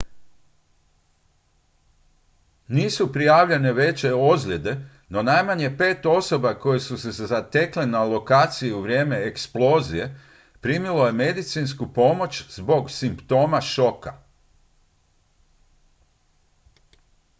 nisu prijavljene veće ozljede no najmanje pet osoba koje su se zatekle na lokaciji u vrijeme eksplozije primilo je medicinsku pomoć zbog simptoma šoka